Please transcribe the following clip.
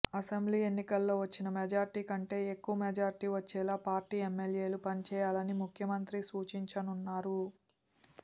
assembly ఎన్నికల్లో వచ్చిన majority కంటే ఎక్కువ మెజార్టీ వచ్చేలా పార్టీ ఎమ్మెల్యేలు పనిచేయాలని ముఖ్యమంత్రి సూచించనున్నారు